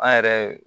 An yɛrɛ